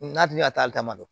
N'a dun y'a ta damadɔ